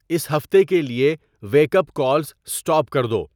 اس ہفتے کے لیے ویک اپ کالز اسٹاپ کر دو